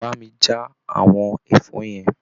Bá mi já àwọn ẹ̀fọ́ yẹn.